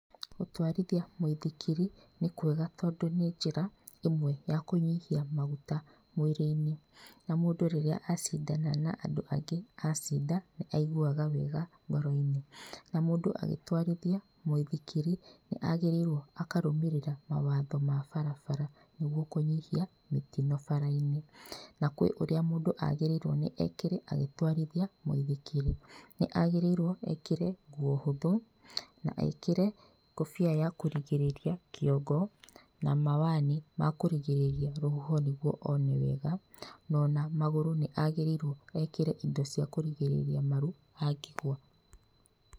Gũtwarithia mũithikiri, nĩ kwega tondũ nĩ njĩra ĩmwe ya kũnyihia maguta mwĩrĩ-inĩ. Na mũndũ rĩrĩa acindana na andũ angĩ acinda nĩ aiguaga wega ngoro-inĩ. Na mũndũ agĩtwarithia mũithikiri nĩ agĩrĩirwo akarũmĩrĩra mawatho ma barabara nĩguo kũnyihia mĩtino bara-inĩ. Na kwĩ ũria mũndũ agĩrĩirwo nĩ ekĩre agĩtwarithia mũithikiri, nĩ agĩrĩirwo ekĩre nguo hũthũ na ekĩre ngũbia ya kũrigĩrĩria kĩongo na mawani ma kũrigĩrĩria rũhuho nĩguo one wega, no ona magũrũ nĩ agĩrĩirwo ĩndo cia kũrigĩrĩria maru angĩgũa.